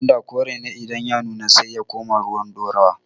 gwanda kore ne idan ya nuna sai ya koma ruwan ɗorawa